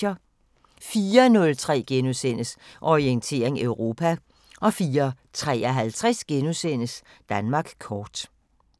04:03: Orientering Europa * 04:53: Danmark kort *